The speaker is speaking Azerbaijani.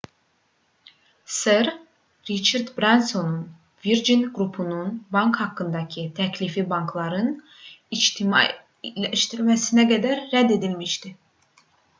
ser riçard bransonun virgin qrupunun bank haqqındakı təklifi bankların ictimailəşdirilməsinə qədər rədd edilmişdi